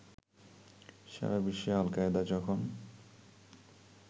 সারাবিশ্বে Al Qaeda যখন